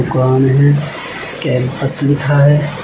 दुकान है कैंपस लिखा है।